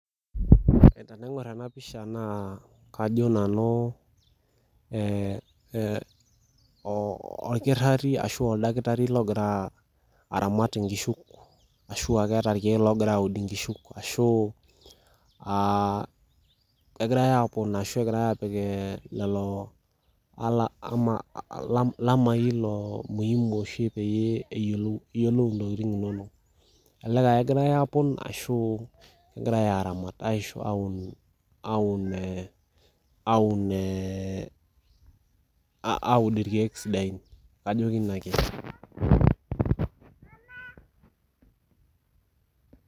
Tenaingor enapisha naa kajo nanu ee e oo orkitari ashu olakitari logira aramat inkishu ashuaa keeta irkiek logira aud inkishu ashu egirae aponaa ashu egirae apik lelo e ama lamai loo muhimi oshi eyiolou, iyiolou ntokitin inonok , elelek aa kengirae apon ashu kegirae aramat ashu aun , aun ee aun ee aud irkiek sidain.